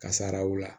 Kasaraw la